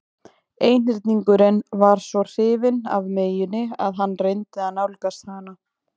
Einhyrningurinn var svo hrifinn af meyjunni að hann reyndi að nálgast hana.